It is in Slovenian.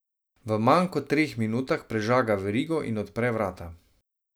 V manj kot treh minutah prežaga verigo in odpre vrata.